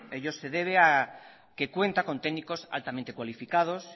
ello se debe a que cuenta con técnicos altamente cualificados